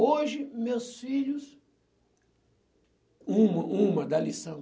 Hoje, meus filhos... Uma uma da lição.